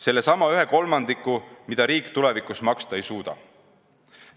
Sellesama kolmandiku, mida riik tulevikus maksta ei suuda.